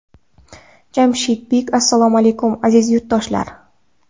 Jamshid Bik Assalomu alaykum, aziz yurtdoshlar.